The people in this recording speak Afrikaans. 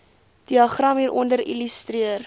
diagram hieronder illustreer